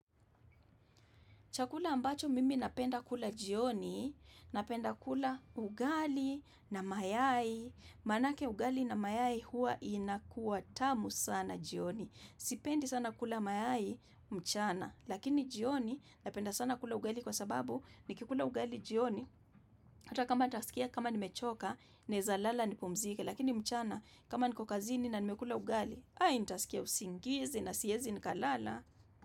Chakula ambacho mimi napenda kula jioni, napenda kula ugali na mayai. MManake ugali na mayai hua inakuwa tamu sana jioni. Sipendi sana kula mayai mchana. Lakini jioni napenda sana kula ugali kwa sababu nikikula ugali jioni. Hata kama nitasikia kama nimechoka, naeza lala nipumzike. Lakini mchana kama niko kazini na nimekula ugali, ai nitasikia usingizi na siezi nikalala.